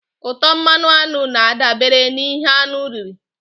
Ụtọ mmanụ aṅụ na-adabere n'ihe aṅụ riri.